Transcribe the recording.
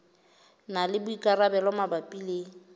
na le boikarabelo mabapi le